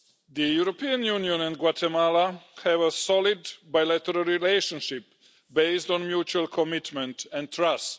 The European Union and Guatemala have a solid bilateral relationship based on mutual commitment and trust.